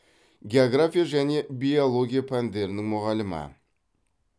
география және биология пәндерінің мұғалімі